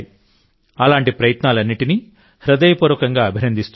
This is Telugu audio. అలాంటి ప్రయత్నాలన్నింటినీ హృదయపూర్వకంగా అభినందిస్తున్నాను